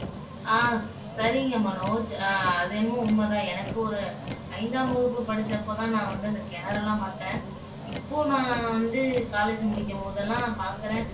ஆஹ் சரிங்க மனோஜ் அது என்னமோ உண்மைதான் எனக்கு ஒரு ஐந்தாம் வகுப்பு படிச்சப்பதான் நான் வந்து அந்த கிணறெல்லாம் பார்த்தேன் இப்போ நான் வந்து college முடிக்கும் போதெல்லாம் பாக்குறேன்